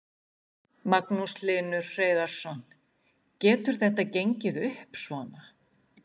Magnús Hlynur Hreiðarsson: Getur þetta gengið upp svona?